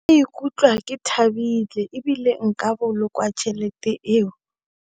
Ke ka ikutlwa ke thabile ebile nka boloka tšhelete eo.